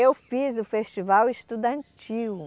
Eu fiz o Festival Estudantil.